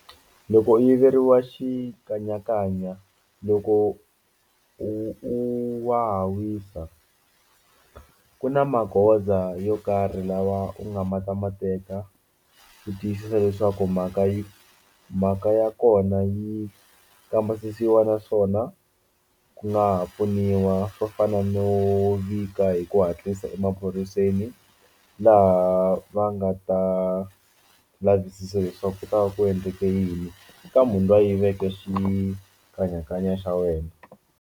Loko u yiveriwa xikanyakanya loko u u waha wisa ku na magoza yo karhi lawa u nga ma ta ma teka u ku tiyisisa leswaku mhaka yi mhaka ya kona yi kambisisiwa naswona ku nga ha pfuniwa swo fana no vika hi ku hatlisa emaphoriseni laha va nga ta lavisisa leswaku ku ta va ku endleke yini ka munhu loyi a yiveke xikanyakanya xa wena.